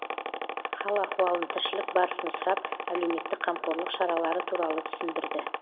хал ахуалын тіршілік барысын сұрап әлеуметтік қамқорлық шаралары туралы түсіндірді